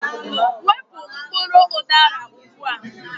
Wepu mkpụrụ udara ugbu a!